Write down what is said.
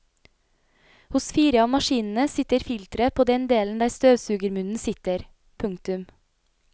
Hos fire av maskinene sitter filteret på den delen der støvsugermunnen sitter. punktum